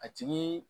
A tigi